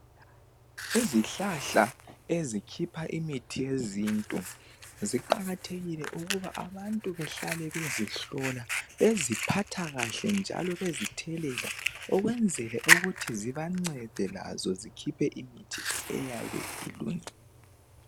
Izihlahla ezikhipha imithi yezintu ziqakathekile ukuthi abantu behlale bezihlola, beziphathakahle njalo bezithelela ukwenzela ukuthi zibancede labo zikhiphe imithi eyabe ilungile.